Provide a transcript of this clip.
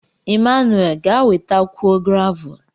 Emmanuwel, ga wetakwuo gravul.